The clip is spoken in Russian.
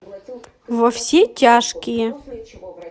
во все тяжкие